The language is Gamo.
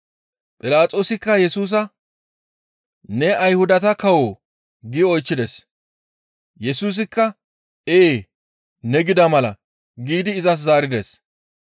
Philaxoosikka Yesusa, «Ne Ayhudata kawoo?» gi oychchides. Yesusikka, «Ee, ne gida mala» giidi izas zaarides.